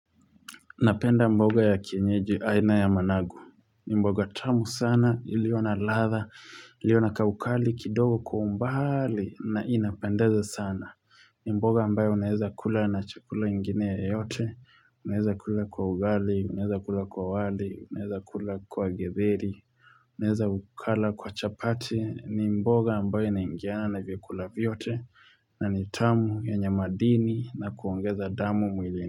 Napenda mboga ya kienyeji aina ya managu. Ni mboga tamu sana, iliyo na ladha, iliyona kaukali kidogo kwa umbali na inapendeza sana. Ni mboga ambayo unaweza kula na chakula ingine yoyote. Unaweza kula kwa ugali, unaweza kula kwa wali, unaweza kula kwa githeri. Unaweza ukala kwa chapati, ni mboga ambayo inaingiana na vyakula vyote. Na ni tamu yenye madini na kuongeza damu mwilini.